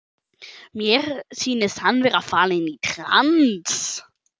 Mér sýnist hann vera fallinn í trans.